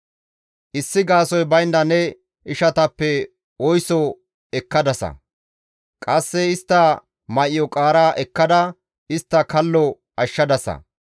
Issi gaasoykka baynda ne ishatappe oyso ekkadasa; qasse istta may7o qaara ekkada istta kallo ashshadasa.